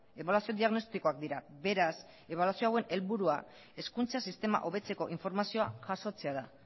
ebaluazio diagnostikoak dira beraz ebaluazio hauen helburua hezkuntza sistema hobetzeko informazioa jasotzea da